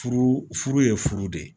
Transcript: Furu furu ye furu de ye